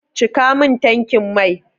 Cika min tankin mai!